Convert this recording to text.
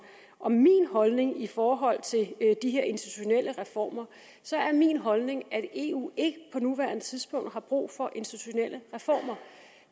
om min holdning i forhold til de her institutionelle reformer er min holdning at eu ikke på nuværende tidspunkt har brug for institutionelle reformer